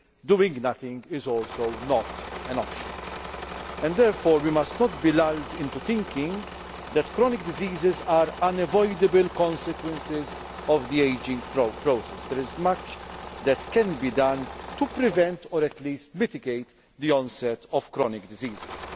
Doing nothing is also not an option. Therefore we must not be lulled into thinking that chronic diseases are unavoidable consequences of the ageing process. There is much that can be done to prevent or at least mitigate the onset of chronic